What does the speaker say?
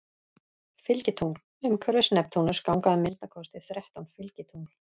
Fylgitungl Umhverfis Neptúnus ganga að minnsta kosti þrettán fylgitungl.